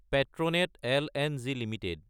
পেট্ৰনেট লং এলটিডি